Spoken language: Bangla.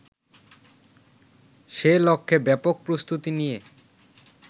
সেলক্ষ্যে ব্যাপক প্রস্তুতি নিয়ে